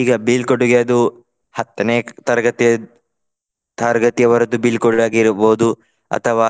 ಈಗ ಬೀಳ್ಕೊಡುಗೆ ಅದು ಹತ್ತನೇ ತರಗತಿ ತರಗತಿಯವರದ್ದು ಬೀಳ್ಕೊಡುಗೆ ಆಗಿರ್ಬಹುದು ಅಥವಾ